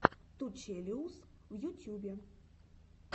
ту челэуз в ютьюбе